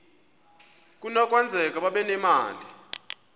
kunokwenzeka babe nemali